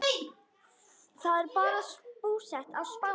Þau eru búsett á Spáni.